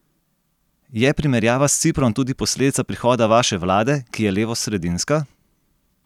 Je primerjava s Ciprom tudi posledica prihoda vaše vlade, ki je levosredinska?